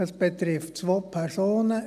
Es betrifft im Moment zwei Personen.